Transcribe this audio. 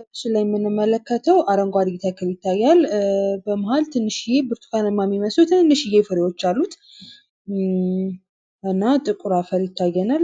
በምስሉ ላይ የምንመለከተው አረንጓዴ ተክል ይታያል። በመሀል ትንሽ ብርቱካናማ ቀለም ያላቸው ፍሬዎች አሉት። እና ጥቁር አፈር ይታየናል።